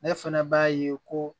Ne fɛnɛ b'a ye ko